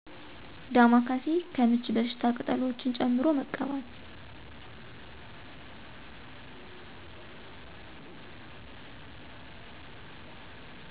ዳማ ካሴ። ለምች በሽታ ቅጠሎችን ጨምቆ መቀባት።